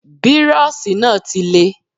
Bírọ́ọ̀ṣì náà ti le.